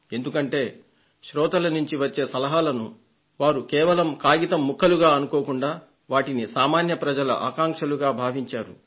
ఎందుకంటే శ్రోతల నుండి వచ్చే సలహాలను వారు కేవలం కాగితం ముక్కలు అని అనుకోకుండా వాటిని సామాన్య ప్రజల ఆకాంక్షలుగా భావించారు